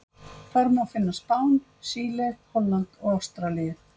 Þar má finna Spán, Síle, Holland og Ástralíu.